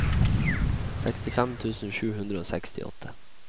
sekstifem tusen sju hundre og sekstiåtte